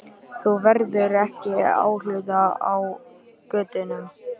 Þú verður ekki óhult á götunum.